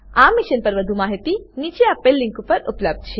આ મિશન પર વધુ માહિતી નીચે દર્શાવેલ લીંક પર ઉપલબ્ધ છે